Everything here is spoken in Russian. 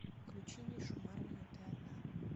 включи мишу марвина ты одна